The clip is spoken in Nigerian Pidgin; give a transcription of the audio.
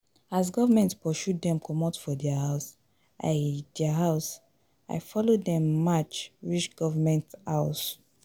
As government pursue dem comot for their house, I their house, I follow dem match reach government house.